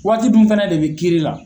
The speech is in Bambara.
Waati dun fana de bɛ kiiri la.